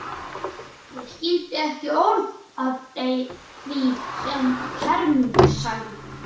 Ég skildi ekki orð af því sem Hermundur sagði.